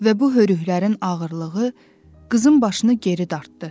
Və bu hörüklərin ağırlığı qızın başını geri dartdı.